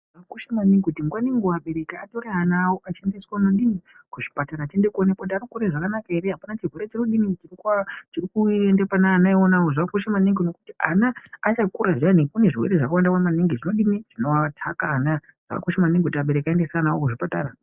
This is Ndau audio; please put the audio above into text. Zvakakosha maningi kuti nguva nenguva abereki atore ana awo achiendeswa kunodini, kuzvipatara achiende kunoonekwa kuti arikukure zvakanaka here apana chirwere chirikudini, chirikuenda pavana ionavo. Zvakakosha maningi ngekuti ana achakura zviyani kune zvirwere zvakawanda maningi zvinodini zvinoataka ana. Zvakakosha maningi kuti abereki aendese ana awo kuzvipatara.